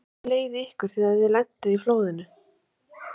Lillý Valgerður: Hvernig leið ykkur þegar þið lentuð í flóðinu?